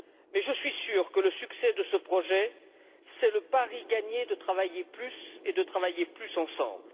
Mais je suis sûr que le succès de ce projet, c'est le pari gagné de travailler plus, et de travailler plus ensemble.